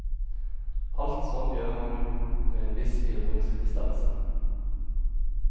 Alt sånt gjør man jo med en viss ironisk distanse.